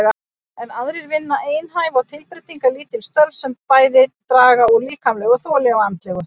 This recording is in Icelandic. Enn aðrir vinna einhæf og tilbreytingarlítil störf sem draga bæði úr líkamlegu þoli og andlegu.